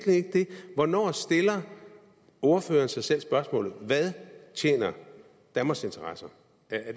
hvornår stiller ordføreren sig selv spørgsmålet hvad tjener danmarks interesser